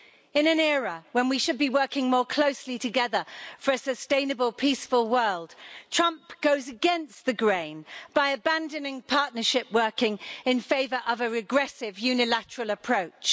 In an era when we should be working more closely together for a sustainable peaceful world, Trump goes against the grain by abandoning partnership in favour of a regressive unilateral approach.